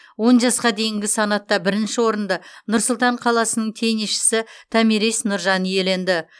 он жасқа дейінгі санатта бірінші орынды нұр сұлтан қаласының теннисшісі томирис нұржан иеленді